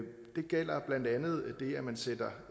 gælder blandt andet det at man sætter